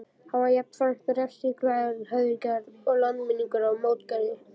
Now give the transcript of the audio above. Hann var jafnframt refsiglaður, hefnigjarn og langminnugur á mótgjörðir.